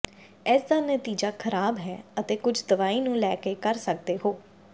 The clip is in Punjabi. ਇਸ ਦਾ ਨਤੀਜਾ ਖਰਾਬ ਹੈ ਅਤੇ ਕੁਝ ਦਵਾਈ ਨੂੰ ਲੈ ਕੇ ਕਰ ਸਕਦੇ ਹੋ